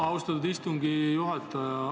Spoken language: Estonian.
Austatud istungi juhataja!